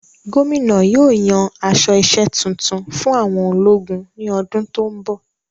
Gómìnà yóò yan aṣọ isẹ́ tuntun fún àwọn ológun ní ọdún tó n bọ